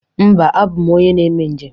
Mba, abụ m onye na-eme njem